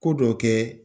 Ko dɔ kɛ